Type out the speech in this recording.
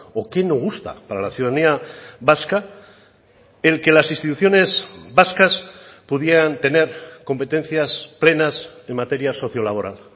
o qué no gusta para la ciudadanía vasca el que las instituciones vascas pudieran tener competencias plenas en materia sociolaboral